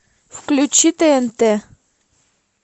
включи тнт